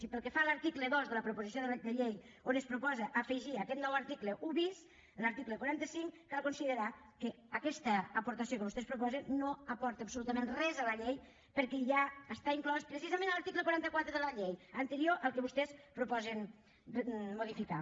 i pel que fa a l’article dos de la proposició de llei on es proposa afegir aquest nou article un bis a l’article quaranta cinc cal considerar que aquesta aportació que vostès proposen no aporta absolutament res a la llei perquè ja està inclòs precisament en l’article quaranta quatre de la llei anterior al que vostès proposen modificar